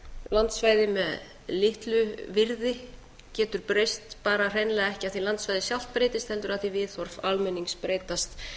landsvæði með litlu virði getur breyst bara hreinlega ekki af því að landsvæðið sjálft breytist heldur af því að viðhorf almennings breytast